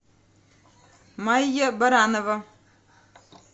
майя баранова